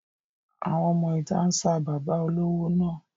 Àwọn ọmọ ìta ń sa bàbá olówó náà.